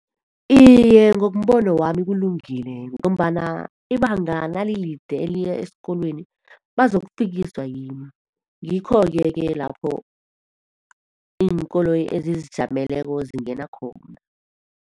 Iye, ngombono wami kulungile. Ngombana ibanga nalide eliya esikolweni bazokufikiswa yini? Ngikhoke-ke lapho iinkoloyi ezizijameleko zingena khona.